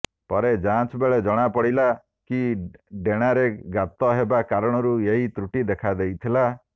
ପରେ ଯାଞ୍ଚ ବେଳେ ଜଣା ପଡିଥିଲା କି ଡେଣାରେ ଗାତ ହେବା କାରଣରୁ ଏହି ତ୍ରୁଟି ଦେଖା ଦେଇଥିଲା